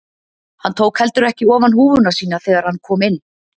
Hann tók heldur ekki ofan húfuna sína þegar hann kom inn.